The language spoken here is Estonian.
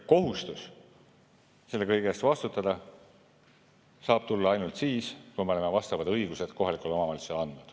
Kohustus selle kõige eest vastutada saab tulla ainult siis, kui me oleme need õigused kohalikele omavalitsustele andnud.